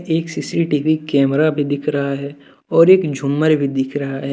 एक CCTV camera भी दिख रहा है और एक झूमर भी दिख रहा है।